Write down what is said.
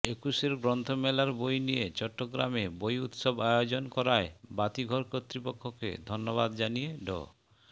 একুশের গ্রন্থ মেলার বই নিয়ে চট্টগ্রামে বই উৎসব আয়োজন করায় বাতিঘর কর্তৃপক্ষকে ধন্যবাদ জানিয়ে ড